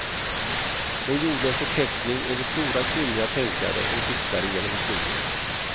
Hon gjorde en förteckning över stora kvinnliga tänkare och diktare genom historien.